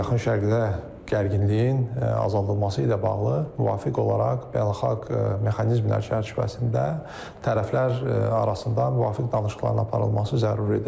Yaxın Şərqdə gərginliyin azaldılması ilə bağlı müvafiq olaraq beynəlxalq mexanizmlər çərçivəsində tərəflər arasında müvafiq danışıqların aparılması zəruridir.